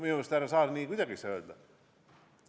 Minu arust, härra Saar, nii ei saa kuidagi öelda!